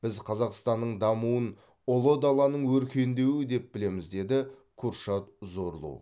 біз қазақстанның дамуын ұлы даланың өркендеуі деп білеміз деді куршад зорлу